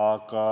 Aga